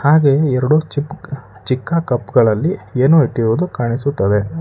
ಹಾಗೆ ಎರಡು ಚಿಕ್ ಚಿಕ್ಕ ಕಪ್ ಗಳಲ್ಲಿ ಏನೋ ಇಟ್ಟಿರುವುದು ಕಾಣಿಸುತ್ತದೆ.